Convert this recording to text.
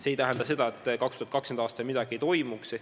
See ei tähenda seda, et 2020. aastal midagi ei toimuks.